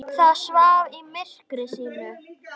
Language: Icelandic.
Það svaf í myrkri sínu.